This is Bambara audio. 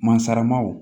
Masaramaw